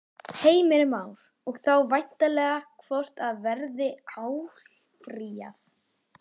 Heimir Már: Og þá væntanlega hvort að verði áfrýjað?